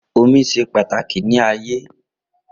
omi se pàtàkì ní ayé